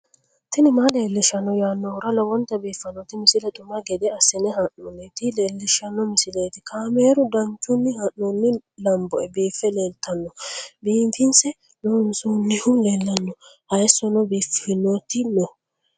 tini maa leelishshanno yaannohura lowonta biiffanota misile xuma gede assine haa'noonnita leellishshanno misileeti kaameru danchunni haa'noonni lamboe biiffe leeeltanno biifinse loonsoonnihu leellanno hayisono biiffannoti no